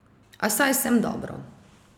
A saj sem dobro.